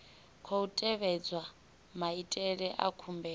khou tevhedzwa maitele a khumbelo